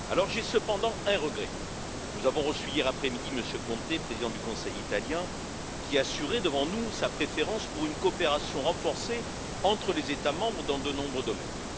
J'ai cependant un regret hier après midi, nous avons reçu M. Conte, président du Conseil italien, qui a assuré devant nous sa préférence pour une coopération renforcée entre les États membres dans de nombreux domaines.